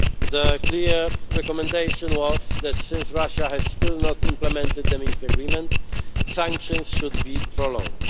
Their clear recommendation was that since Russia has still not implemented the Minsk agreement, sanctions should be prolonged.